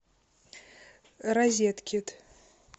розеткед